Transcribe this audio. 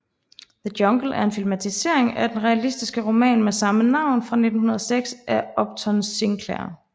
The Jungle er en filmatisering af den realistiske roman med samme navn fra 1906 af Upton Sinclair